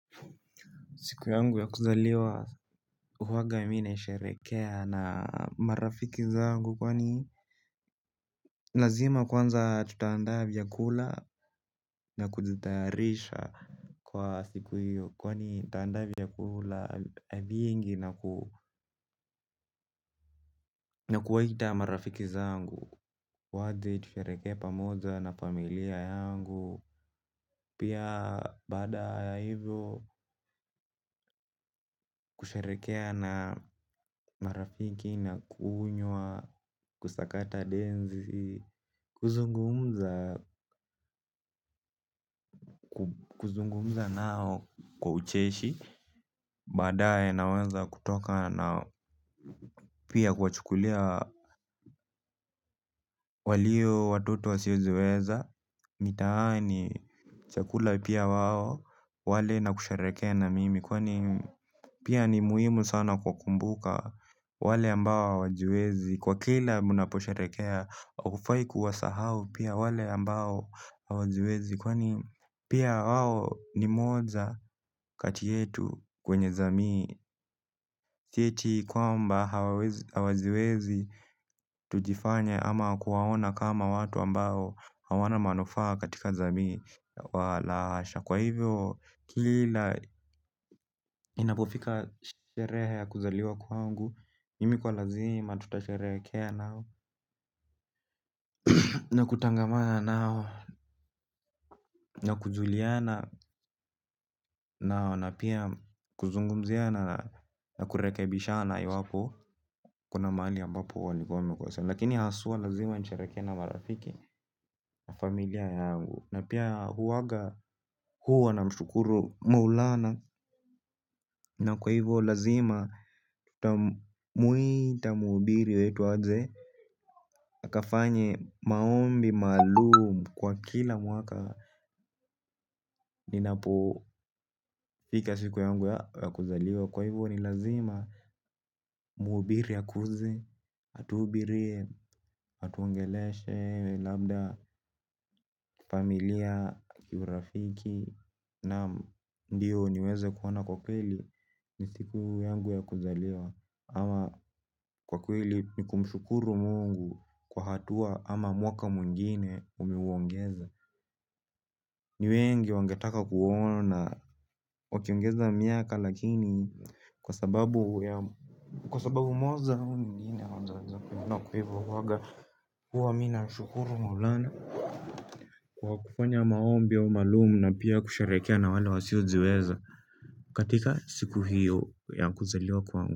Siku yangu ya kuzaliwa huwaga mi naisherekea na marafiki zangu kwani lazima kwanza tutaandaa vyakula na kujitarisha kwa siku hiyo. Kwani nitaandaa vyakula viingi na ku na kuwaita marafiki zangu waje tusherekee pamoja na familia yangu pia baada ya ivo kusherekea na marafiki na kunywa, kusakata denzi, kuzungumza nao kwa ucheshi. Baadae naweza kutoka nao pia kuwachukulia walio watoto wasiojiweza. Mitaani chakula pia wao wale na kusherekea na mimi. Kwani pia ni muhimu sana kuwakumbuka wale ambao hawajiwezi. Kwa kila mnaposherekea haufai kuwasahau pia wale ambao hawajiwezi. Kwani pia wao ni moja kati yetu kwenye jamii si eti kwamba hawajiwezi tujifanye ama kuwaona kama watu ambao hawana manufaa katika jamii. Wa la hasha kwa ivyo kila inapofika sherehe ya kuzaliwa kwangu mimi kwa lazima tutasherehekea nao. Na kutangamana nao na kujuliana nao. Na pia kuzungumziana na kurekebishana iwapo kuna mahali ambapo walikua wamekosea. Lakini haswa lazima nisherekee na marafiki na familia yangu. Na pia huwaga huwa namshukuru maulana. Na kwa ivo lazima, nitamuuita muhubiri wetu aje akafanye maombi, maalum kwa kila mwaka. Ninapofika siku yangu ya kuzaliwa. Kwa hivo ni lazima muhubiri akuje. Atuhubirie, atuongeleshe, labda, familia, kiurafiki. Naam ndio niweze kuona kwa kweli. Ni siku yangu ya kuzaliwa. Ama kwa kweli ni kumshukuru mungu kwa hatua ama mwaka mwingine umeuongeza. Ni wengi wangetaka kuona, wakiongeza miaka lakini kwa sababu moja ama nyingine hawajaweza kuona kwa hivo huwaga huwa mi namshukuru maulana. Kwa kufanya maombi au maalum na pia kusherekea na wale wasiojiweza. Katika siku hiyo ya kuzaliwa kwangu.